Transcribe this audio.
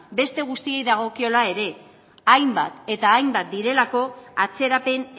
beste guztiei dagokiela ere hainbat eta hainbat direlako atzerapen